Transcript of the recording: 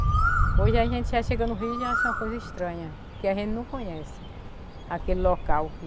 Hoje a gente já chegando no Rio já acha uma coisa estranha, porque a gente não conhece aquele local que...